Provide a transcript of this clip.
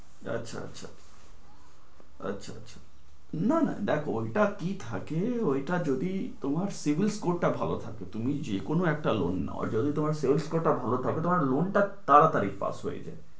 আচ্ছা, আচ্ছা, আচ্ছা। না না দেখো ওইটাই কি থাকে ওইটা যদি তোমার CIBIL score টা ভালো থাকে তুমি যেকোনো একটা loan নেওয়ার জন্য CIBIL score টা ভালো থাকে তোমার loan টা তাড়াতাড়ি pass হয়ে যায়।